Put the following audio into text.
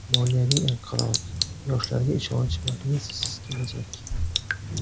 Moliyaviy inqiroz, yoshlarga ishonch va Messisiz kelajak.